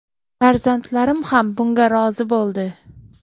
Farzandlarim ham bunga rozi bo‘ldi.